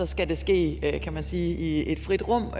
skal det ske kan man sige i et frit rum